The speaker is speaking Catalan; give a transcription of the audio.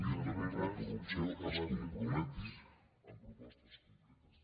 lluita contra la corrupció es comprometi en propostes concretes